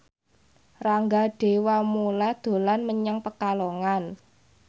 Rangga Dewamoela dolan menyang Pekalongan